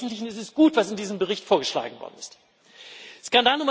Aber im Wesentlichen ist es gut, was in diesem Bericht vorgeschlagen worden ist.